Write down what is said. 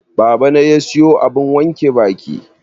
Babana ya siyo abun wanke baki.